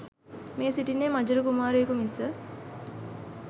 මේ සිටින්නේ මජර කුමාරයකු මිස